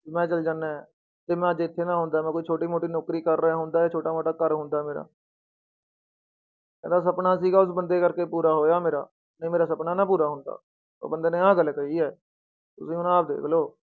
ਵੀ ਮੈਂ ਚਲੇ ਜਾਨਾ ਹੈ ਤੇ ਮੈਂ ਅੱਜ ਇੱਥੇ ਨਾ ਹੁੰਦਾ, ਮੈਂ ਕੋਈ ਛੋਟੀ ਮੋਟੀ ਨੌਕਰੀ ਕਰ ਰਿਹਾ, ਹੁੰਦਾ ਛੋਟਾ ਮੋਟਾ ਘਰ ਹੁੰਦਾ ਮੇਰਾ ਕਹਿੰਦਾ ਸਪਨਾ ਸੀਗਾ ਉਸ ਬੰਦੇ ਕਰਕੇ ਪੂਰਾ ਹੋਇਆ ਮੇਰਾ, ਨਹੀਂ ਮੇਰਾ ਸਪਨਾ ਨਾ ਪੂਰਾ ਹੁੰਦਾ, ਉਹ ਬੰਦੇ ਨੇ ਆਹ ਗੱਲ ਕਹੀ ਹੈ ਤੁਸੀਂ ਹੁਣ ਆਹ ਦੇਖ ਲਓ।